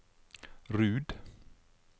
Rud